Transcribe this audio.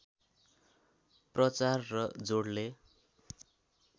प्रचार र जोडले